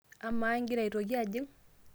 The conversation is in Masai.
amaa ingira aitoki ajing